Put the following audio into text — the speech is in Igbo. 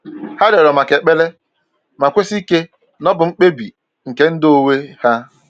Ha rịọrọ maka ekpere, ma kwesi ike na ọ bụ bụ mkpebi nke ndụ onwe ha.